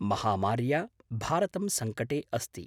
महामार्या भारतं सङ्कटे अस्ति।